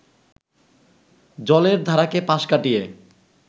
জলের ধারাকে পাশ কাটিয়ে